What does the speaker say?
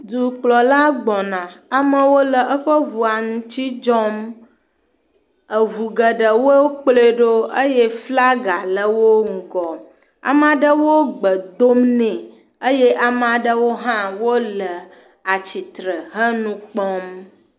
Dukplɔla gbɔna, amewo le eƒe ŋua ŋuti dzɔm, Ŋu geɖe wokplɔe ɖo eye flaga le wo ŋgɔ. Ame aɖewo gbe dom ne eye ame aɖewo hã le tsitre he nu kpɔm.